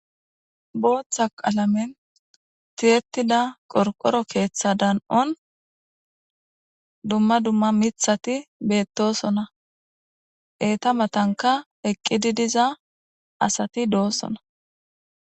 Booththa qalamen tiyettida qorqoro keeththa dan'on dumma dumma miiththati beettosona. eeta matankka eqqidi diza asati doosona.